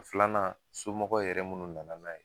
Filanan ,somɔgɔw yɛrɛ munnu nana n'a ye